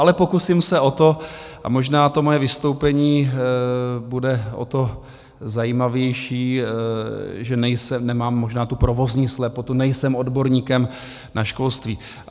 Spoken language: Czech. Ale pokusím se o to a možná to moje vystoupení bude o to zajímavější, že nemám možná tu provozní slepotu, nejsem odborníkem na školství.